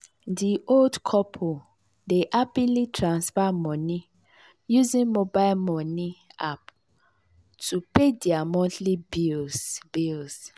di old couple dey happily transfer moni using mobile moni app to pay dia monthly bills. bills.